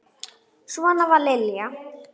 Svona var Lilja.